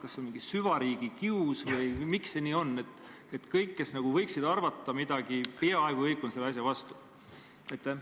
Kas see on mingi süvariigi kius või miks see nii on, et peaaegu kõik, kes võiksid selle kohta midagi arvata, on selle asja vastu?